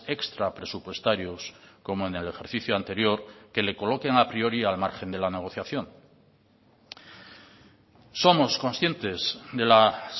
extrapresupuestarios como en el ejercicio anterior que le coloquen a priori al margen de la negociación somos conscientes de las